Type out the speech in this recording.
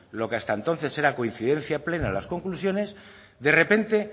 lo que hasta entonces era coincidencia plena en las conclusiones de repente